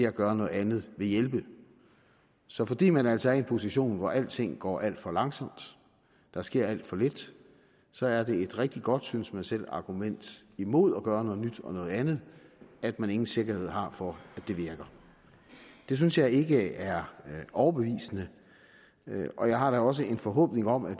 at gøre noget andet vil hjælpe så fordi man altså er i en position hvor alting går alt for langsomt der sker alt for lidt så er det et rigtig godt synes man selv argument imod at gøre noget nyt og noget andet at man ingen sikkerhed har for at det virker det synes jeg ikke er overbevisende og jeg har da også en forhåbning om at